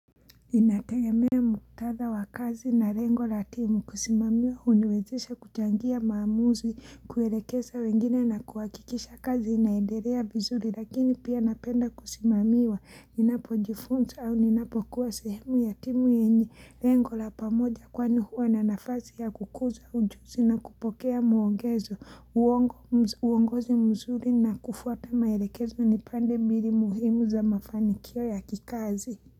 Inategemea muktadha wa kazi na lengo la timu kusimamia uniwezesha kuchangia maamuzi kuelekeza wengine na kuhakikisha kazi inaendelea vizuri lakini pia napenda kusimamiwa ninapo jifunza au ninapo kuwa sehemu ya timu yenye lengo la pamoja kwani huwa na nafasi ya kukuza ujuzi na kupokea muongezo uongozi mzuri na kufuata maelekezo ni pande mbinu muhimu za mafanikio ya kikazi.